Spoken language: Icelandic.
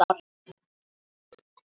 Nei, það erum við.